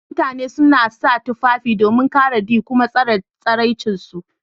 Mutani suna sa tufafi domin kare d kuma tsare tsiranci su.